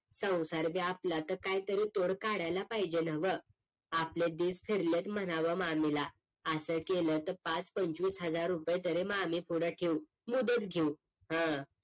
संसार भी आपला तर काहीतरी तोड काढायला पाहिजेना व्ह आपले दिस फिरलेत म्हणाव मामीला असं केलं तर पाच पंचवीस हजार रुपये तरी मागे पुढे ठेऊ मुदत घेऊ हं